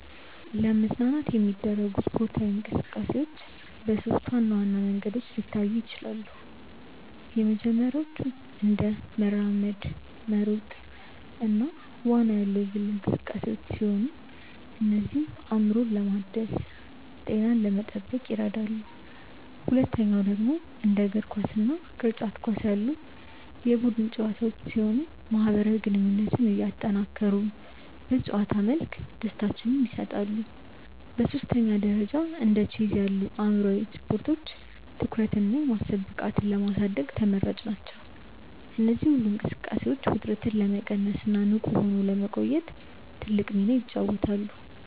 ለመዝናናት የሚደረጉ ስፖርታዊ እንቅስቃሴዎች በሦስት ዋና ዋና መንገዶች ሊታዩ ይችላሉ። የመጀመሪያዎቹ እንደ መራመድ፣ መሮጥ እና ዋና ያሉ የግል እንቅስቃሴዎች ሲሆኑ እነዚህም አእምሮን ለማደስና ጤናን ለመጠበቅ ይረዳሉ። ሁለተኛው ደግሞ እንደ እግር ኳስ እና ቅርጫት ኳስ ያሉ የቡድን ጨዋታዎች ሲሆኑ ማህበራዊ ግንኙነትን እያጠናከሩ በጨዋታ መልክ ደስታን ይሰጣሉ። በሦስተኛ ደረጃ እንደ ቼዝ ያሉ አእምሯዊ ስፖርቶች ትኩረትንና የማሰብ ብቃትን ለማሳደግ ተመራጭ ናቸው። እነዚህ ሁሉ እንቅስቃሴዎች ውጥረትን ለመቀነስና ንቁ ሆኖ ለመቆየት ትልቅ ሚና ይጫወታሉ።